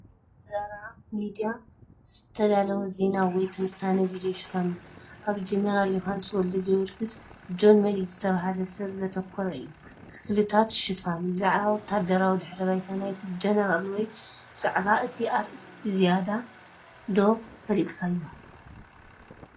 እዚ ብዛራ ሚድያ ዝተዳለወ ዜና ወይ ትንታነ ቪድዮ ሽፋን ኮይኑ፡ ኣብ ጀነራል ዮውሃንስ ወልደጊዮርጊስ (ጆን መዲድ) ዝተባህለ ሰብ ዘተኮረ እዩ። ክፍልታት ሽፋን፡ ብዛዕባ ወተሃደራዊ ድሕረ ባይታ ናይቲ ጀነራል ወይ ብዛዕባ እቲ ኣርእስቲ ዝያዳ ዶ ፈሊጥካዮ?